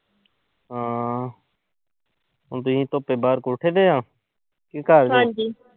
ਹਮ ਦੀਪ ਤੇ ਕੋਠੇ ਤੇ ਆ ਕਿ